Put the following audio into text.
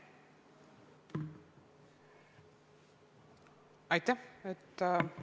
Aitäh!